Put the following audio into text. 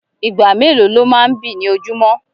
Ìgbà mélòó lọ máa n bí ní ojumọ?